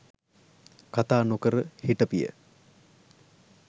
කතා නොකර හිටපිය.